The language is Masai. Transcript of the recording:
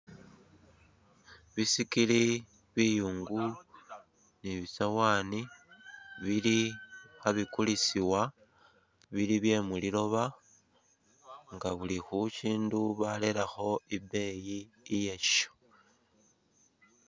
Bisikili, biyungu ni bisawaani bili khabikulisiwa bili bye muliloba nga buli khushindu barelekho ibeeyi yasho.